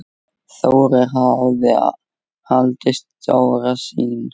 Þórir hafði alltaf stóra sýn.